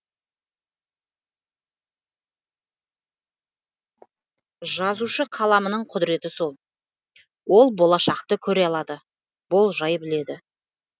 жазушы қаламының құдіреті сол ол болашақты көре алады болжай біледі